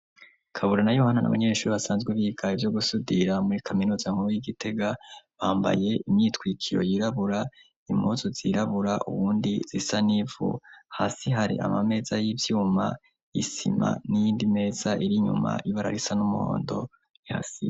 Kabura na yohana na banyeshuri basanzwe bigaye ivyo gusudira muri kaminuza nkubu y'igitega bambaye imyitwikiyo yirabura imozu zirabura uwundi zisa n'ivu hasi hari ama meza y'ivyuma isima n'indi meza irinyuma ibararisa n'umhondo i hasi.